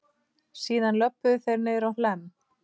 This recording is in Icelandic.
Síðan löbbuðu þeir niðrá Hlemm.